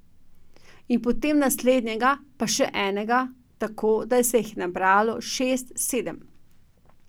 In potem naslednjega, pa še enega, tako da se jih je nabralo šest, sedem.